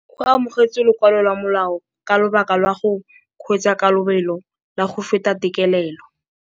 O amogetse lokwalô lwa molao ka lobaka lwa go kgweetsa ka lobelo la go feta têtlêlêlô.